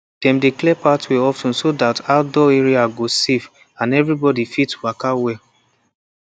dem dey clear pathway of ten so that outdoor area go safe and everybody fit waka well